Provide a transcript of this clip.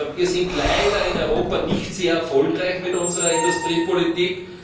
Wir sind leider in Europa nicht sehr erfolgreich mit unserer Industriepolitik.